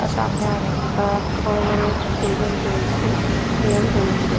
আর সামনে অনেক অ্যা বড় বড় টেবিল রয়েছে চেয়ার রয়েছে।